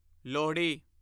Lohri